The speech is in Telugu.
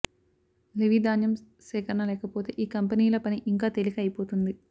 లెవీ ధాన్యం సేకరణ లేకపోతే ఈ కంపెనీల పని ఇంకా తేలిక అయిపోతుంది